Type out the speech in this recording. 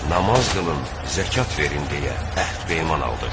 Namaz qılın, zəkat verin deyə əhd peyman aldıq.